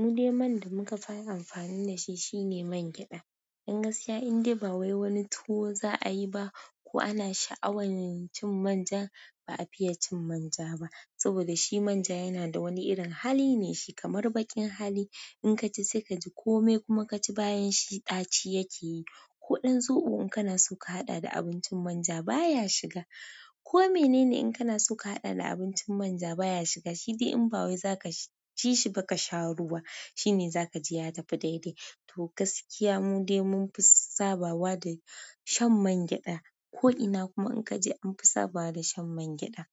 Mu dai man da muka fara amfani da shi shine man gyaɗa. Dan gaskiya, in dai ba wai wani tuwo za a yi ba ko ana sha'awan cin manja, ba a fiye cin manja ba. Saboda shi manja yana da wani irin hali ne shi kamar baƙin hali. In ka ji sai ka ji komai kuma ka ci bayan shi ɗaci yake yi. Ko ɗan zoɓo in kana so ka haɗa da abincin manja baya shiga ko mene ne in kana so ka haɗa da abincin manja baya shiga. Shi dai in ba wai za ka ci shi ba ka sha ruwa, shine za ka ji ya tafi daidai. To gaskiya mu dai mun fi sabawa da shan man gyaɗa. Ko'ina kuma in ka je an fi sabawa da shan man gyaɗa.